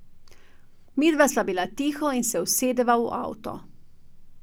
Midva sva bila tiho in se usedeva v avto.